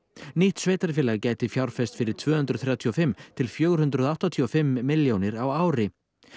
nýtt sveitarfélag gæti fjárfest fyrir tvö hundruð þrjátíu og fimm til fjögur hundruð áttatíu og fimm milljónir á ári